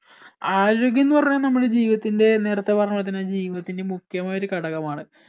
ആരോഗ്യം എന്ന് പറഞ്ഞ നമ്മളെ ജീവിതത്തിന്റെ നേരെത്തെ പറഞ്ഞപോലെ തന്നെ ജീവിതത്തിന്റെ മുഖ്യമായ ഒരു ഘടകമാണ്